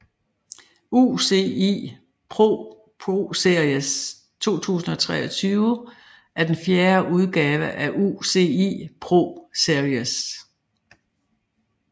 UCI ProSeries 2023 er den fjerde udgave af UCI ProSeries